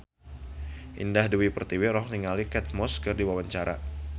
Indah Dewi Pertiwi olohok ningali Kate Moss keur diwawancara